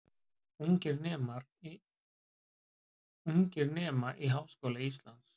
Ungir nema í Háskóla Íslands